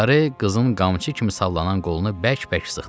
Larey qızın qamçı kimi sallanan qolunu bərk-bərk sıxdı.